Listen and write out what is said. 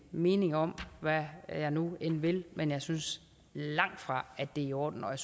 mening om og hvad jeg nu end vil men jeg synes langtfra at det er i orden og